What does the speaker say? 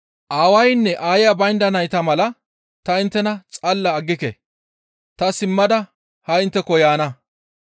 «Aawaynne aaya baynda nayta mala ta inttena xalla aggike; ta simmada ha intteko yaana.